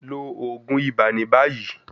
Lo oogun iba ni bayi